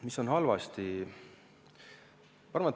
Mis on halvasti?